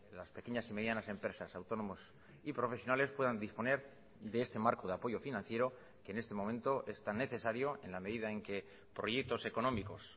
las pequeñas y medianas empresas autónomos y profesionales puedan disponer de este marco de apoyo financiero que en este momento es tan necesario en la medida en que proyectos económicos